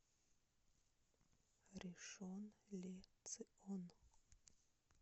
ришон ле цион